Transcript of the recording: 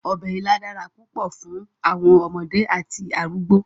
Ọbẹ̀ ilá dára púpọ̀ fún àwọn ọmọdé àti àwọn arúgbọ̀.